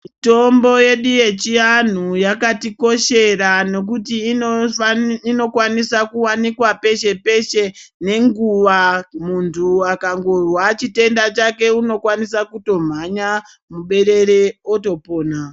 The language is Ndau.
Mitombo yedu yechianhu yakatikoshera nokuti inokwanisa kuwanikwa peshe-peshe nenguwa muntu akangozwa chitenda chake unokwanisa kutomhanya muberere otopona.